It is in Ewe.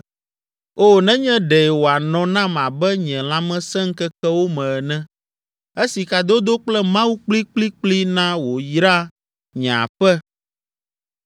O, nenye ɖe wòanɔ nam abe nye lãmesẽŋkekewo me ene, esi kadodo kple Mawu kplikplikpli na wòyra nye aƒe,